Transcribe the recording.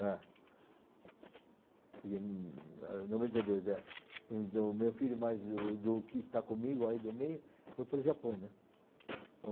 É, e hm eh noventa e dois, é. Então o meu filho mais o do que está comigo aí do meio foi para o Japão, né?